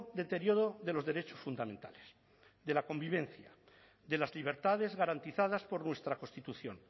deterioro de los derechos fundamentales de la convivencia de las libertades garantizadas por nuestra constitución